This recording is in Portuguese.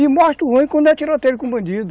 E mostra o ruim quando é tiroteio com bandido.